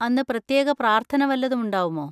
അന്ന് പ്രത്യേക പ്രാർത്ഥന വല്ലതും ഉണ്ടാവുമോ?